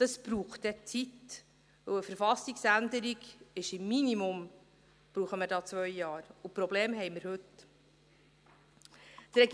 Das braucht dann Zeit, denn für eine Verfassungsänderung brauchen wir im Minimum zwei Jahre, und die Probleme haben wir heute.